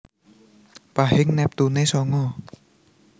Pahing neptune sanga